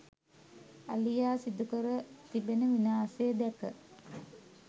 අලියා සිදුකර තිබෙන විනාශය දැක